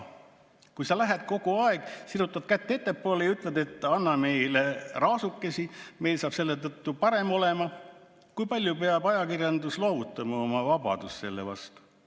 Kui sa lähed kogu aeg, sirutad kätt ettepoole ja ütled, et anna meile raasukesi, meil saab selle võrra natukene parem – kui palju peab ajakirjandus loovutama oma vabadust selle vastu?